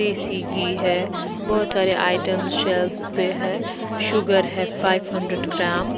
देशी घी है बहोत सारे आइटम शेल्व्स पे है शुगर है फाइव हंड्रेड ग्राम ।